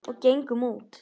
Og gengum út.